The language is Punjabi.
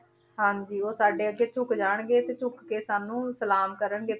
ਹਾਂਜੀ ਉਹ ਸਾਡੇ ਅੱਗੇ ਝੁੱਕ ਜਾਣਗੇ ਤੇ ਝੁੱਕ ਕੇ ਸਾਨੂੰ ਸਾਲਮ ਕਰਨਗੇ,